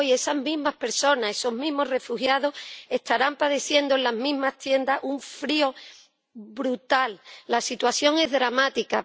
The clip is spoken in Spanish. Hoy esas mismas personas, esos mismos refugiados estarán padeciendo en las mismas tiendas un frío brutal. La situación es dramática